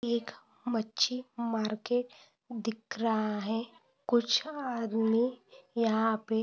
एक मच्छी मार्केट दिख रहा है। कुछ आदमी यहा पे--